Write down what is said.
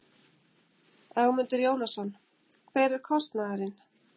Ögmundur Jónasson: Hver er kostnaðurinn?